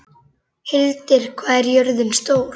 Hildir, hvað er jörðin stór?